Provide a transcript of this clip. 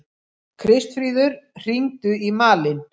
Kristfríður, hringdu í Malin.